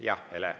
Jah, Hele.